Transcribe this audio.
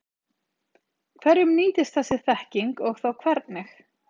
Hverjum nýtist þessi þekking og þá hvernig?